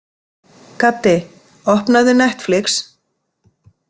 Gaddi, opnaðu Netflix.